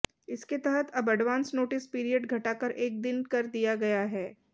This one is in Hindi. इसके तहत अब एडवांस नोटिस पीरियड घटाकर एक दिन कर दिया गया है